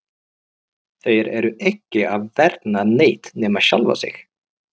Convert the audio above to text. Þeir eru ekki að vernda neitt nema sjálfa sig!